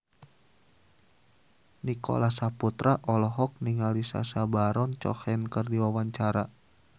Nicholas Saputra olohok ningali Sacha Baron Cohen keur diwawancara